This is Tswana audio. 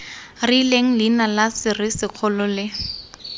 rileng leina la serisikgolo le